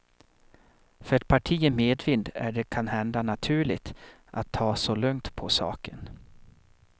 För ett parti i medvind är det kanhända naturligt att ta så lugnt på saken.